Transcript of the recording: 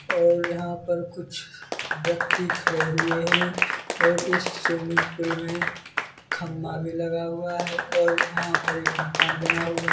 और यहाँ पर कुछ व्यक्ति खडे़ हुए हैं और इस स्विमिंग पूल मे खंबा भी लगा हुआ है और यहाँ पर एक मकान बना हुआ--